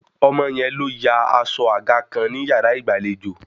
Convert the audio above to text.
Ọmọ yẹn ló ya aṣọ àga kan ní yàrá ìgbàlejò